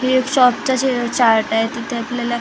हे शॉप च्या चार्ट आहे तिथे आपल्याला--